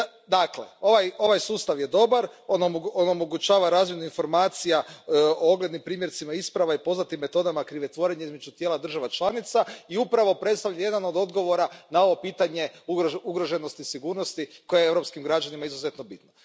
Dakle, ovaj sustav je dobar, omogućava razmjenu informacija o oglednim primjercima isprava i poznatim metodama krivotvorenja između tijela država članica i upravo predstavlja jedan od odgovora na ovo pitanje ugroženosti sigurnosti koja je europskim građanima izuzetno bitna.